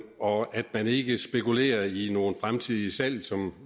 og at man ikke spekulerer i nogle fremtidige salg som